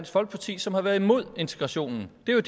folkeparti som har været imod integrationen det var